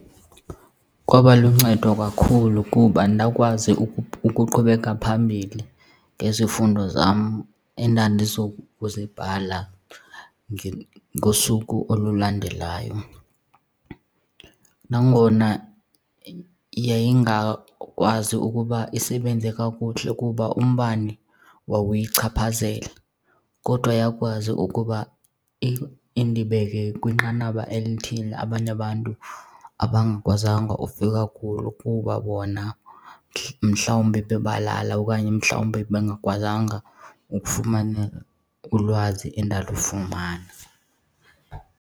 Kwaba luncedo kakhulu kuba ndakwazi ukuqhubeka phambili ngezifundo zam endandizokuzibhala ngosuku olulandelayo. Nangona yayingakwazi ukuba isebenze kakuhle kuba umbane wawuyichaphazela kodwa yakwazi ukuba indibeke kwinqanaba elithile abanye abantu abangakwazanga ufika kuloo kuba bona mhlawumbi bebalala okanye mhlawumbi bengakwazanga ukufumana ulwazi endalufumana.